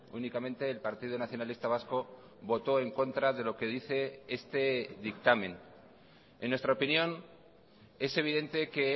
únicamente el partido nacionalista vasco votó en contra de lo que dice este dictamen en nuestra opinión es evidente que